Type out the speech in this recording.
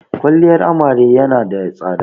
Kwaliyar amare ya na da tsada